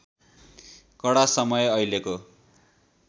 कडा समय अहिलेको